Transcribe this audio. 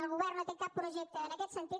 el govern no té cap projecte en aquest sentit